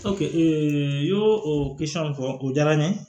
ee n y'o o fɔ o jara n ye